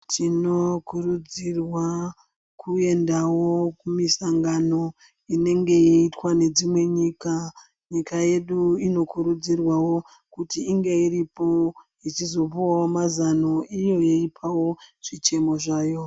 Tinokurudzirwa kuendawo kumisangano inenge yeitwawo ngedzimwe nyika nyika yedu inokurudzirwawo kuti inge iripo ichizopuhwa mazwano iyo yeipawo zvichemo zvayo